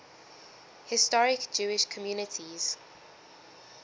historic jewish communities